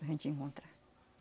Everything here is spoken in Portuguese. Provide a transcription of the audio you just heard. Da gente encontrar.